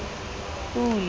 pule